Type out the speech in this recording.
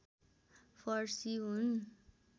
फर्सी हुन्